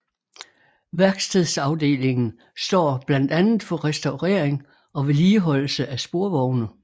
Værkstedsafdelingen står blandt andet for restaurering og vedligeholdelse af sporvogne